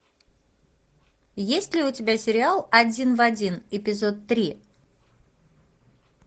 есть ли у тебя сериал один в один эпизод три